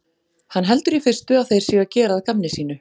Hann heldur í fyrstu að þeir séu að gera að gamni sínu.